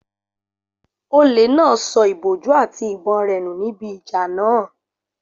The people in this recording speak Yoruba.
Olè náà sọ ìbòjú àti ìbọn rẹ̀ nù níbi ìjà náà